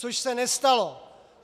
Což se nestalo.